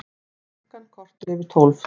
Klukkan korter yfir tólf